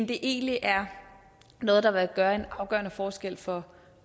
det egentlig er noget der vil gøre en afgørende forskel for